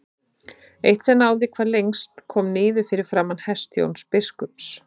Eitt sem náði hvað lengst kom niður fyrir framan hest Jóns biskups.